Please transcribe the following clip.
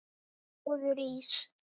Góður ís?